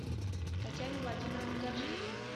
татьяне владимировне гаджиевой